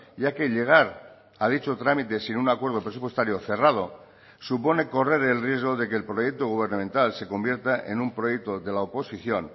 ya que llegar a dicho trámite sin un acuerdo presupuestario cerrado supone correr el riesgo de que el proyecto gubernamental se convierta en un proyecto de la oposición